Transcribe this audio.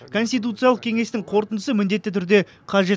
конституциялық кеңестің қорытындысы міндетті түрде қажет